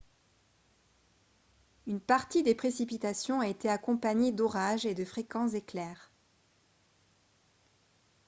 une partie des précipitations a été accompagnée d'orages et de fréquents éclairs